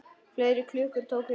Fleiri klukkur tóku undir.